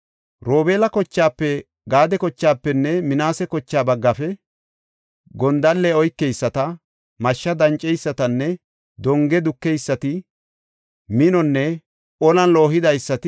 Robeela kochaafe, Gaade kochaafenne Minaase kochaa baggaafe gondalle oykeysati, mashshe danceysatinne donge dukeysati minonne olan loohidaysati 44, 760.